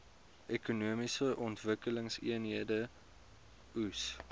ekonomiese ontwikkelingseenhede eoes